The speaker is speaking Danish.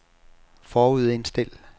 forudindstil